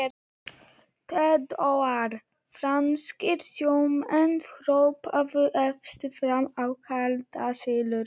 THEODÓRA: Franskir sjómenn hröpuðu efst fram af klettasyllu.